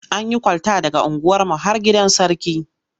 An yi kwalta daga unguwarmu har gidan Sarki.